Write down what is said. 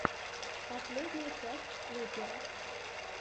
последняя часть лупера